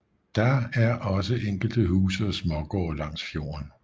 Der er også enkelte huse og smågårde langs fjorden